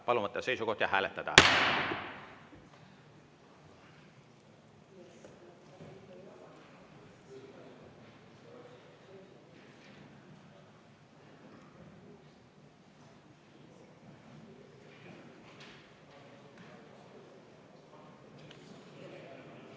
Palun võtta seisukoht ja hääletada!